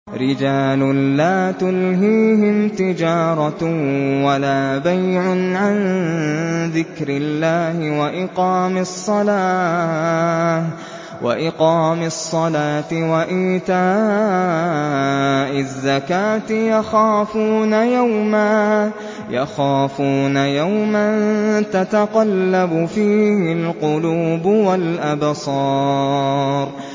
رِجَالٌ لَّا تُلْهِيهِمْ تِجَارَةٌ وَلَا بَيْعٌ عَن ذِكْرِ اللَّهِ وَإِقَامِ الصَّلَاةِ وَإِيتَاءِ الزَّكَاةِ ۙ يَخَافُونَ يَوْمًا تَتَقَلَّبُ فِيهِ الْقُلُوبُ وَالْأَبْصَارُ